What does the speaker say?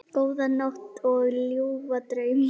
Góða nótt og ljúfa drauma.